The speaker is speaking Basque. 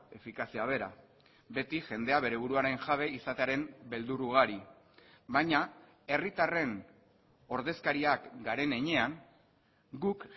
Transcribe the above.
efikazia behera beti jendea bere buruaren jabe izatearen beldur ugari baina herritarren ordezkariak garen heinean guk